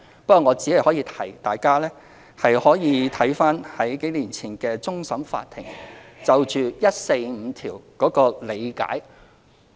不過我只可以提醒一點，大家可參閱終審法院數年前就《基本法》第一百四十五條作出的理解。